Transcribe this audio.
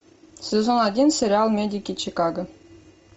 сезон один сериал медики чикаго